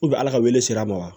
ala ka wele ser'a ma wa